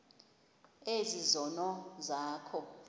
ezi zono zakho